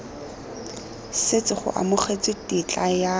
setse go amogetswe tetla ya